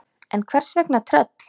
En hvers vegna tröll?